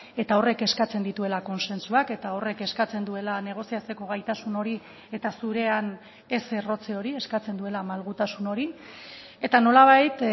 eta horrek eskatzen dituela kontsentsuak eta horrek eskatzen duela negoziatzeko gaitasun hori eta zurean ez errotze hori eskatzen duela malgutasun hori eta nolabait